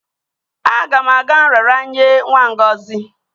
Aga m aga nraranye nwa Ngozi